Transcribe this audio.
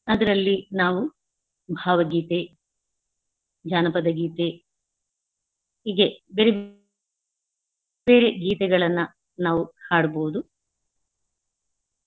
ಅದ್ರಲ್ಲಿ ನಾವು ಭಾವಗೀತೆ, ಜನಪದಗೀತೆ ಹೀಗೆ ಬೇರೆ ಬೇರೆ ಗೀತೆಗಳನ್ನ ನಾವು ಹಾಡಬಹುದು.